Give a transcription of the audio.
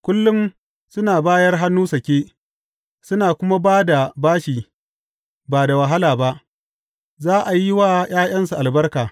Kullum suna bayar hannu sake suna kuma ba da bashi ba da wahala ba, za a yi wa ’ya’yansu albarka.